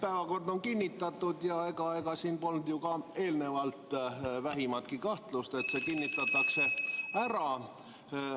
Päevakord on kinnitatud ja ega siin polnud ju ka eelnevalt vähimatki kahtlust, et see kinnitatakse ära.